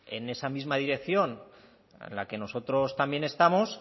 en esa misma dirección en la que nosotros también estamos